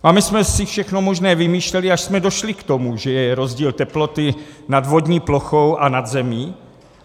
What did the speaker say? A my jsme si všechno možné vymýšleli, až jsme došli k tomu, že je rozdíl teploty nad vodní plochou a nad zemí.